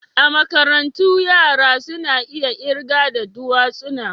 A makarantu yara suna iya kirga da dutsuna.